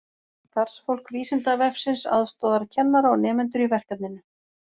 Starfsfólk Vísindavefsins aðstoðar kennara og nemendur í verkefninu.